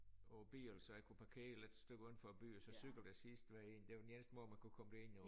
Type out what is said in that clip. Og bil så jeg kunne parkere lidt stykke uden for by og så cykel det sidste derind det var den eneste måde man kunne komme derind jo